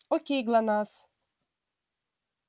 к кому пришла красавица